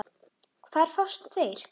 Hvar fást þeir?